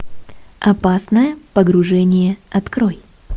опасное погружение открой